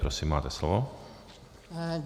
Prosím, máte slovo.